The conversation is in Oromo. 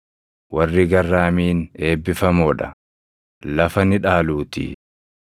Warri garraamiin eebbifamoo dha; lafa ni dhaaluutii.